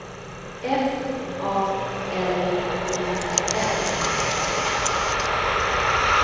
F A L U N